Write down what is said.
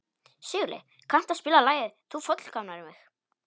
Sigurleif, kanntu að spila lagið „Þú fullkomnar mig“?